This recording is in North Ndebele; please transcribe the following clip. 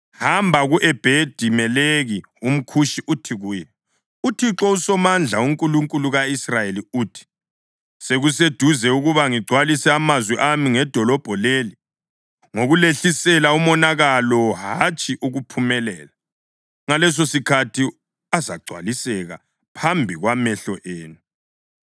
“Hamba ku-Ebhedi-Meleki umKhushi uthi kuye, ‘ UThixo uSomandla, uNkulunkulu ka-Israyeli uthi: Sekuseduze ukuba ngigcwalise amazwi ami ngedolobho leli ngokulehlisela umonakalo, hatshi ukuphumelela. Ngalesosikhathi azagcwaliseka phambi kwamehlo enu.